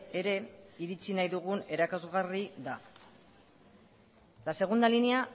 ere iritsi nahi dugun erakusgarri da la segunda línea